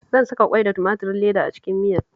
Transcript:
Zan saka ƙwai da tumaturin leda a cikin miyar